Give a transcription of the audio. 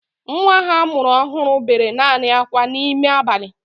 Nwa ha a mụrụ ọhụrụ bere naanị akwa n'ime abalị